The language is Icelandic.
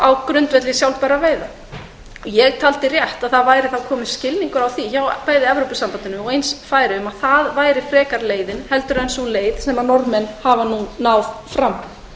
á grundvelli sjálfbærra veiða ég taldi að skilningur væri á því hjá evrópusambandinu og hjá færeyingum að það væri leiðin frekar en sú leið sem norðmenn hafa nú náð fram